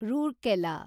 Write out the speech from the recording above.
Rourkela